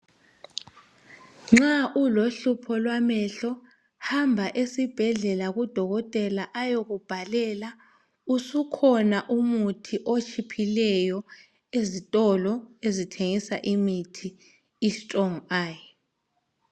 Nxa ulohlupho lwamehlo hamba esibhedlela ku Dokotela esibhedlela ayekubhalela . Usukhona umuthi otshiphileyo ezitolo ezithengisa imithi i strong eye.